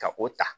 Ka o ta